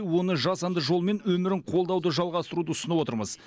оны жасанды жолмен өмірін қолдауды жалғастыруды ұсынып отырмыз